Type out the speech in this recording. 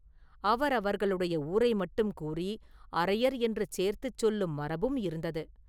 அவரவர்களுடைய ஊரை மட்டும் கூறி அரையர் என்று சேர்த்துச் சொல்லும் மரபும் இருந்தது.